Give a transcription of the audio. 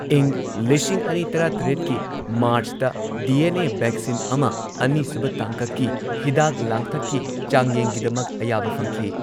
ꯏꯪ ꯂꯤꯁꯤꯡ ꯑꯅꯤ ꯇꯔꯥꯇꯔꯦꯠꯀꯤ ꯃꯥꯔꯆꯇ, ꯗꯤ ꯑꯦꯟ ꯑꯦ ꯚꯦꯛꯁꯤꯟ ꯑꯃ ꯑꯅꯤ ꯁꯨꯕ ꯇꯥꯡꯀꯛꯀꯤ ꯍꯤꯗꯥꯛ ꯂꯥꯡꯊꯛꯀꯤ ꯆꯥꯡꯌꯦꯡꯒꯤꯗꯃꯛ ꯑꯌꯥꯕ ꯐꯪꯈꯤ꯫